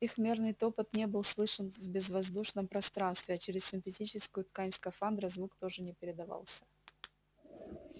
их мерный топот не был слышен в безвоздушном пространстве а через синтетическую ткань скафандра звук тоже не передавался